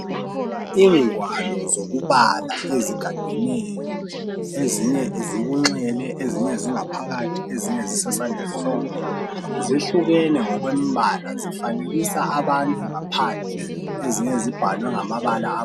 Ingwalo zokubala ezigadeneyo ezinye zikunxele ezinye zingaphakathi ezinye zisesandleni sokudla zihlukene ngokwempala zifanekisa abantu ngaphandle ezinye zibhaliwe ngamabala.